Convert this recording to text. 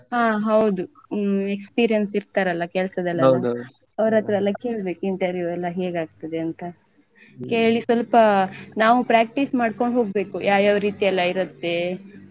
ಹ ಹೌದು ಹ್ಮ್ experience ಇರ್ತಾರಲ್ಲ ಕೆಲ್ಸದಲೆಲ್ಲಾ ಅವ್ರತ್ರಯೆಲ್ಲ ಕೇಳ್ಬೇಕು interview ಎಲ್ಲ ಹೇಗಾಗ್ತದೆ ಅಂತ ಕೇಳಿ ಸ್ವಲ್ಪ ನಾವು practice ಮಾಡ್ಕೊಂಡು ಹೋಗ್ಬೇಕು ಯಾವ್ ಯಾವ್ ರೀತಿ ಎಲ್ಲ ಇರುತ್ತೆ.